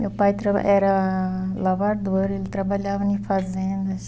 Meu pai traba era lavrador, ele trabalhava em fazendas.